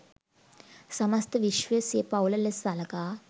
සමස්ත විශ්වය සිය පවුල ලෙස සලකා